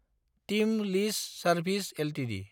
team lease services Ltd